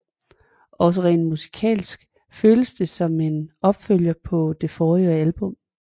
Også rent musikalsk føles det som en opfølger på det forrige album